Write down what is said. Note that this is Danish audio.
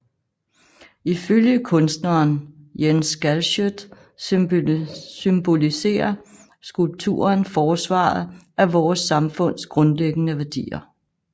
Ifølge kunstneren Jens Galschiøt symboliserer skulpturen forsvaret af vores samfunds grundlæggende værdier